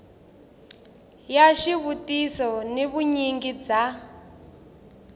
ya xivutiso ni vunyingi bya